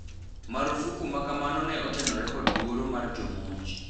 Marufuku makamano ne otenore kod luoro mar jomonj.